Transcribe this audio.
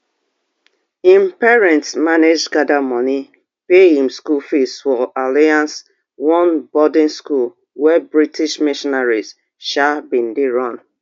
im parents manage gada money pay im school fees for alliance one boarding school wey british missionaries um bin dey run